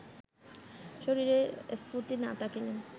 শরীরে স্ফূর্ত্তি না থাকিলে